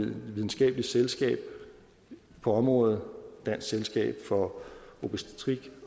videnskabelige selskab på området dansk selskab for obstetrik